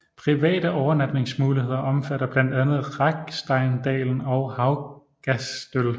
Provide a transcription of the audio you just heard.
Private overnatningsmuligheder omfatter blandt andet Raggsteindalen og Haugastøl